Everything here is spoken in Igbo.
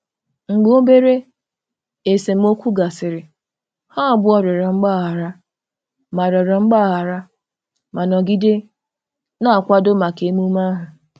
Mgbe obere esemokwu gasịrị, ha abụọ rịọrọ mgbaghara ma rịọrọ mgbaghara ma nọgide na-akwado maka emume ahụ.